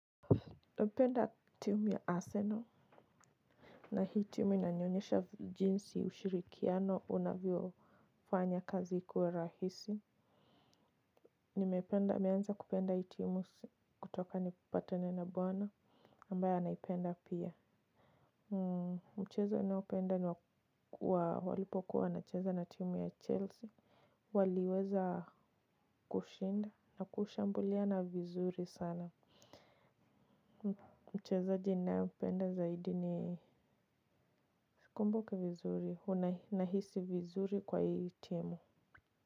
Napenda timu ya Arsenal. Na hii timu inanionyesha jinsi ushirikiano unavyofanya kazi kuwa rahisi. Nimependa, nimeanza kupenda hii timu kutoka nipatane na bwana ambaye anaipenda pia. Mchezo ninaopenda walipokuwa wanacheza na timu ya Chelsea. Waliweza kushinda na kushambuliana vizuri sana. Mchezaji ninaempenda zaidi ni sikumbuki vizuri. Huwa nahisi vizuri kwa hii timu.